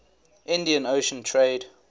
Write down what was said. indian ocean trade